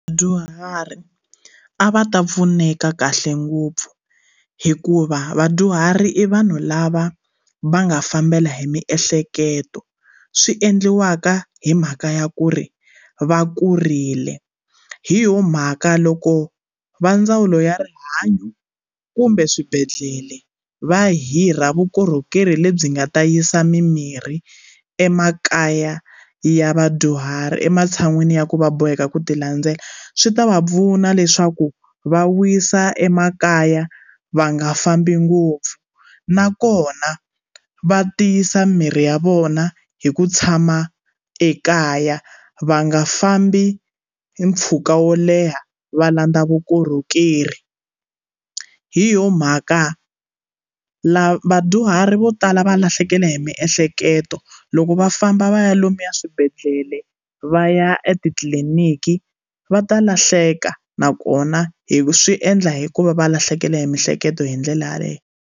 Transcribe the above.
Vadyuhari a va ta pfuneka kahle ngopfu hikuva vadyuhari i vanhu lava va nga fambela hi miehleketo swi endliwaka hi mhaka ya ku ri va kurile hi yoho mhaka loko va ndzawulo ya rihanyo kumbe swibedhlele va hirha vukorhokeri lebyi nga ta yisa mimirhi emakaya ya vadyuhari ematshan'wini ya ku va boheka ku ti landzela swi ta va pfuna leswaku va wisa emakaya va nga fambi ngopfu nakona va tiyisa miri ya vona hi ku tshama ekaya va nga fambi hi mpfhuka wo leha va landza vukorhokeri hi yoho mhaka la vadyuhari vo tala va lahlekela hi miehleketo loko va famba va ya lomu swibedhlele va ya etitliliniki va ta lahleka nakona hi swi endla hi ku va va lahlekele hi mihleketo hi ndlela yaleyo.